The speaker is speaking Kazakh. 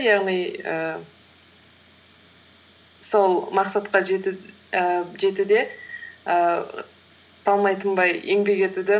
яғни ііі сол мақсатқа ііі жетуде ііі талмай тынбай еңбек етуді